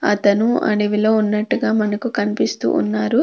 అతను అడవిలో ఉన్నట్టుగా మనకు కనిపిస్తూ ఉన్నారు.